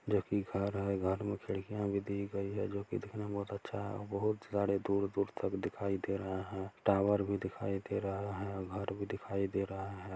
जो की घर है घर में खिड़कियाँ भी दी गई है जो दिखने में बहुत अच्छा है बहुत सारे दूर-दूर तक दिखाई दे रहा है टॉवर भी दिखाई दे रहा है घर भी दिखाई दे रहा है।